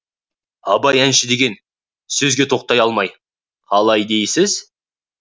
абай әнші деген сөзге тоқтай алмай қалай дейсіз